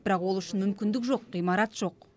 бірақ ол үшін мүмкіндік жоқ ғимарат жоқ